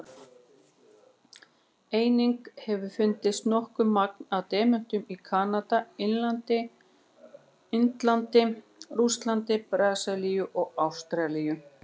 Einnig hefur fundist nokkuð magn af demöntum í Kanada, Indlandi, Rússlandi, Brasilíu og Ástralíu.